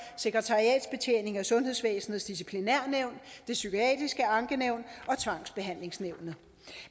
sekretariatsbetjening og sundhedsvæsenets disciplinærnævn det psykiatriske ankenævn og tvangsbehandlingsnævnet